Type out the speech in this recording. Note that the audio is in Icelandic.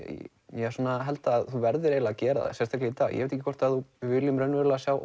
ég held að þú verðir eiginlega að gera það sérstaklega í dag ég veit ekki hvort við viljum raunverulega sjá